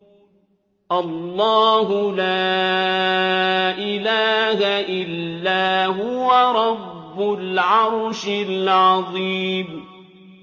اللَّهُ لَا إِلَٰهَ إِلَّا هُوَ رَبُّ الْعَرْشِ الْعَظِيمِ ۩